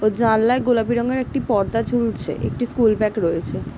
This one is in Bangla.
ও জানলায় গোলাপি রংয়ের একটি পর্দা ঝুলছে একটি স্কুল ব্যাগ রয়েছে।